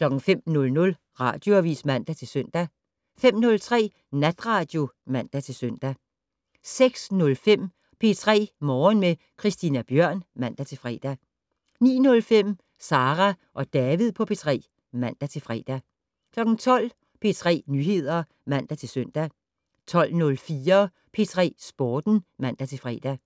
05:00: Radioavis (man-søn) 05:03: Natradio (man-søn) 06:05: P3 Morgen med Christina Bjørn (man-fre) 09:05: Sara og David på P3 (man-fre) 12:00: P3 Nyheder (man-søn) 12:04: P3 Sporten (man-fre)